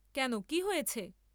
কেন কি হয়েছে।